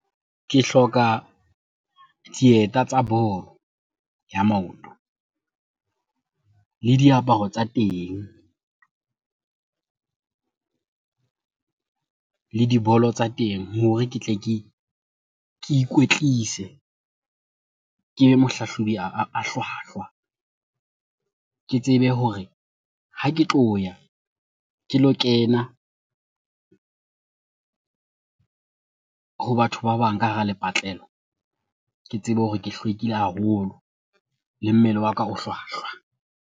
Ke hloka dieta tsa bolo ya maoto le diaparo tsa teng le dibolo tsa teng hore ke tle ke ikwetlise, kebe mohlahlobi a hlwahlwa. Ke tsebe hore ha ke tloya ke lo kena ho batho ba bang ka hara lepatlela, ke tsebe hore ke hlwekile haholo le mmele wa ka o hlwahlwa.